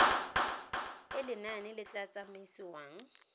e lenane le tla tsamaisiwang